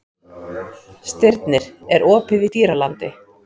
Stirnir, er opið í Dýralandi?